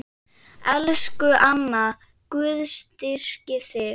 Elsku amma, Guð styrki þig.